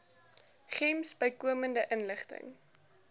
gems bykomende inligting